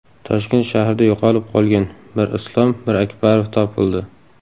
Toshkent shahrida yo‘qolib qolgan Mirislom Mirakbarov topildi.